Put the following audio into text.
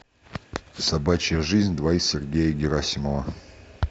собачья жизнь два сергея герасимова